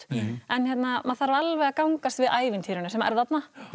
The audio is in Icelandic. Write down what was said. en maður þarf alveg að gangast við ævintýrinu sem er þarna